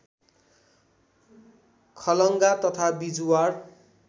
खलङ्गा तथा बिजुवार